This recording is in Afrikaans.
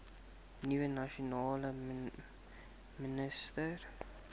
nuwe nasionale minister